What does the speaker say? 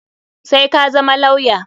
Sai ka zama lawya!